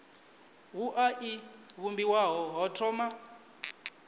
wua i vhumbiwa ho thoma